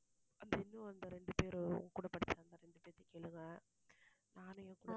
இன்னும் அந்த இரண்டு பேரு உங்க கூட படிச்சாங்களே அந்த இரண்டு பேரை கேளுங்க. நானும் என் கூட